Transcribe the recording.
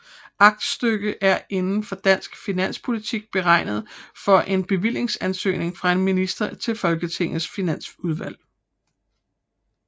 Aktstykke er inden for dansk finanspolitik betegnelsen for en bevillingsansøgning fra en minister til Folketingets Finansudvalg